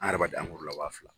An yɛrɛ b'a di la wa fila